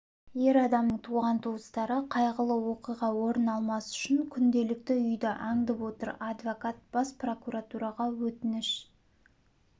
ер адамның туған-туыстары қайғылы оқиға орын алмас үшін күнделікті үйді аңдып отыр адвокат бас прокуратураға өтініш